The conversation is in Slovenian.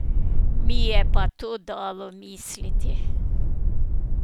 Mi je pa to dalo misliti.